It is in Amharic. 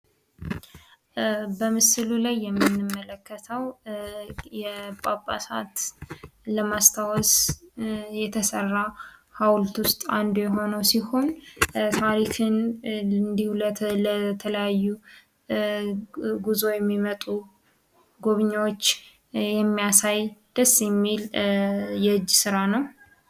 በምስሉ ላይ የምንመለከተው ጳጳሳትን ለማስታወስን ለማስታወስ የተሰራ ሀውልት ውስጥ አንዱ ሲሆን ታሪክን እንዲሁ ለተለያዩ ጉዞ የሚመጡ ጎብኝዎች የሚያሳይ ደስ የሚል የእጅ ስራ ነው።